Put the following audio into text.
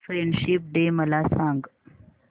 friendship day मला सांग